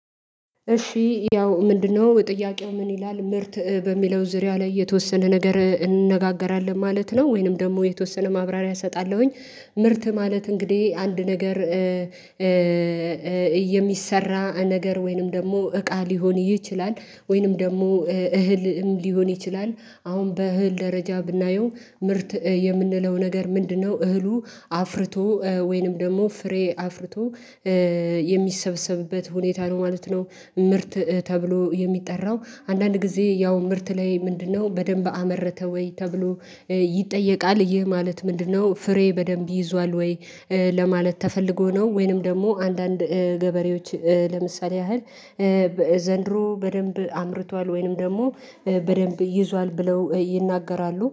እሺ ያው ምንድነው ጥያቄው ምን ይላል ምርት በሚለው ዙሪያ ላይ የተወሰነ ነገር እንነጋገራለን ማለት ነው ወይንም ደግሞ የተወሰነ ማብራሪያ እሰጣለሁኝ። ምርት ማለት እንግዲህ አንድ ነገር የሚሰራ ነገር ወይንም ደግሞ እቃ ሊሆን ይችላል። ወይንም ደግሞ እህልም ሊሆን ይችላል። አሁን በእህል ደረጃ ብናየው ምርት የምንለው ነገር ምንድነው? እህሉ አፍርቶ ወይንም ደግሞ ፍሬ አፍርቶ የሚሰበሰብበት ሁኔታ ነው ማለት ነው። ምርት ተብሎ የሚጠራው። አንዳንድ ጊዜ ያው ምርት ላይ ምንድነው በደንብ አመረተ ወይ ተብሎ ይጠየቃል። ይህ ማለት ምንድነው? ፍሬ በደንብ ይዟል ወይ ለማለት ተፈልጎ ነው። ወይንም ደግሞ አንዳንድ ገበሬዎች ለምሳሌ ያህል ዘንድሮ በደንብ አምርቷል ወይንም ደግሞ በደንብ ይዟል ብለው ይናገራሉ